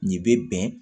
Nin bɛ bɛn